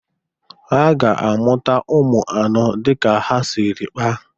Ha ga-amụta ụmụ anọ dị ka ha siri kpaa.